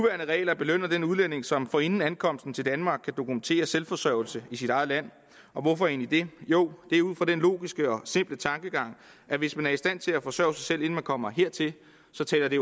regler belønner den udlænding som forinden ankomsten til danmark kan dokumentere selvforsørgelse i sit eget land og hvorfor egentlig det jo det er ud fra den logiske og simple tankegang at hvis man er i stand til at forsørge sig selv inden man kommer hertil så taler det